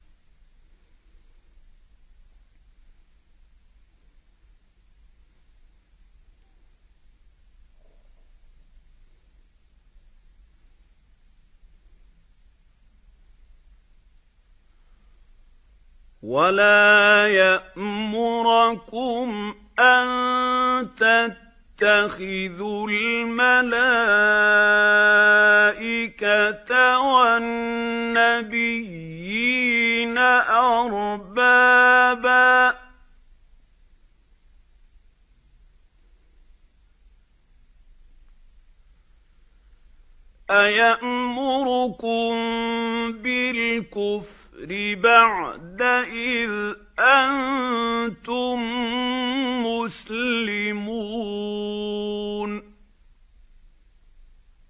وَلَا يَأْمُرَكُمْ أَن تَتَّخِذُوا الْمَلَائِكَةَ وَالنَّبِيِّينَ أَرْبَابًا ۗ أَيَأْمُرُكُم بِالْكُفْرِ بَعْدَ إِذْ أَنتُم مُّسْلِمُونَ